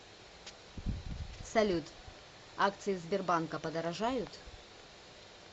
салют акции сбербанка подорожают